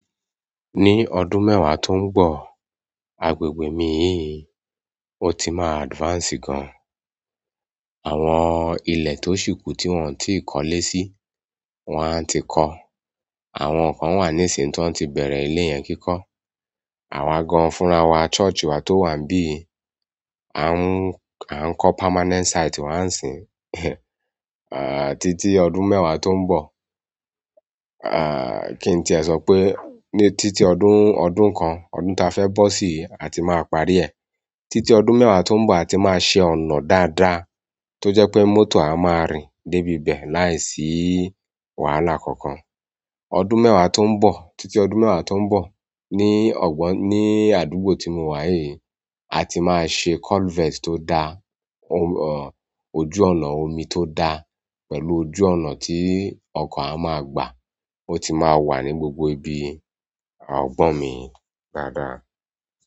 Ni ọdún mẹwa to n bọ, agbègbè mi yìí o ti maa advance gan. Àwọn ilẹ̀ tó ṣìkù tí wọ́n ò tí ì kọ́lé sí, wọ́n á ti kọ́. Àwọn kan wà ní ìsìn ti wọn ti bẹ̀rẹ̀ ilé yẹn kíkọ́. Àwa gan fúnra wa, church wà tó wà n bí, à ń kọ permanent site wà ń sin. À, títí ọdún mẹ́wàá tó ń bọ̀. À, kí n tìẹ sọ pé, ní títí ọdún, ọdún kan, ọdún ta fẹ́ bọ́ sí a ti máa parí ẹ̀. Títí ọdún mẹ́wàá tó ń bọ̀ a ti máa ṣe ọ̀nà dáadáa tó jẹ́ pé mọ́tò a máa rìn dé ibi bẹ̀ láìsí wàhálà kankan. Ọdún mẹ́wàá tó ń bọ̀, títí ọdún mẹ́wàá tó ń bọ̀ ní ọgbọ́n, ní àdúgbò tí mo wá yìí, a ti máa ṣe culvert tó dá, ojú ọ̀nà omi tó dá pẹ̀lú ojú ọ̀nà tí ọkọ̀ a máa gbà. Ó ti máa wà ní gbogbo ibi àwọn ọgbọ́n mi dáadáa.